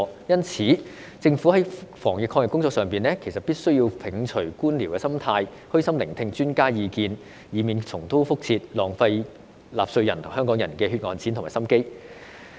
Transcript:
因此，政府在防疫抗疫工作上，必須摒除官僚心態、虛心聆聽專家的意見，以免重蹈覆轍，浪費納稅人和香港人的血汗錢和心機。